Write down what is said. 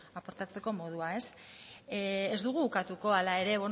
aportatzeko modua ez dugu ukatuko hala ere